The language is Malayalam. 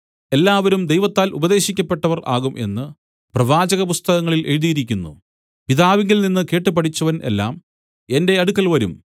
എല്ലാവരും ദൈവത്താൽ ഉപദേശിക്കപ്പെട്ടവർ ആകും എന്നു പ്രവാചകപുസ്തകങ്ങളിൽ എഴുതിയിരിക്കുന്നു പിതാവിൽനിന്ന് കേട്ടുപഠിച്ചവൻ എല്ലാം എന്റെ അടുക്കൽ വരും